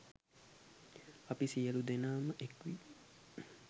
අපි සියලු දෙනාම එක්වී